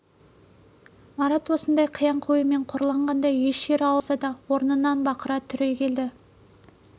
марат осындай қияңқы оймен қорланғандай еш жері ауырмаса да орнынан бақыра түрегелді